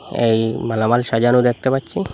এই মালামাল সাজানো দ্যাখতে পাচ্ছি।